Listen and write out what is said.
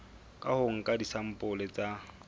ka ho nka disampole tsa